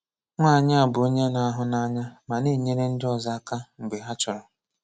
Nwányị a bụ onye na-ahụ́nànyà ma na-enyèrè ndị ọzọ aka mgbe ha chọrọ.